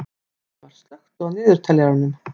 Austmar, slökktu á niðurteljaranum.